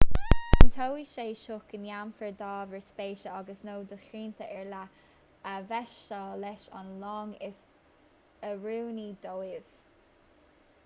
cinnteoidh sé seo go ndéanfar d'ábhair spéise agus/nó do shrianta ar leith a mheaitseáil leis an long is oiriúnaí dóibh